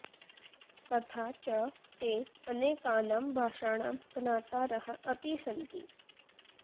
तथा च ते अनेकानां भाषाणां ज्ञातारः अपि सन्ति